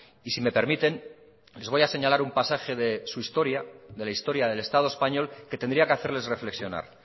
y si me permiten les voy a señalar un pasaje de su historia de la historia del estado español que tendría que hacerles reflexionar